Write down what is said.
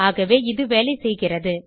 ஆகவே இது வேலை செய்கிறது